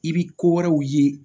I bɛ ko wɛrɛw ye